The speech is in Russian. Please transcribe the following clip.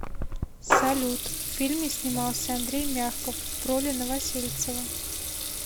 салют в фильме снимался андрей мягков в роли новосельцева